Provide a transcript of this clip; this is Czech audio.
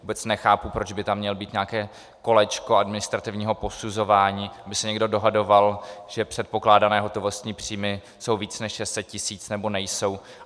Vůbec nechápu, proč by tam mělo být nějaké kolečko administrativního posuzování, aby se někdo dohadoval, že předpokládané hotovostní příjmy jsou více než 600 tisíc, nebo nejsou.